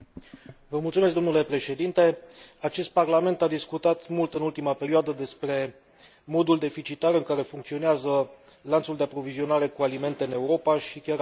Acest Parlament a discutat mult în ultima perioadă despre modul deficitar în care funcționează lanțul de aprovizionare cu alimente în Europa și chiar a aprobat un raport în acest sens.